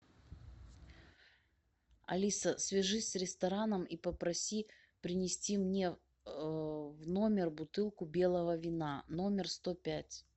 алиса свяжись с рестораном и попроси принести мне в номер бутылку белого вина номер сто пять